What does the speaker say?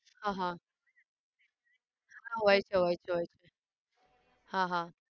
હા હા હા હોય છે હોય છે હોય છે હા હા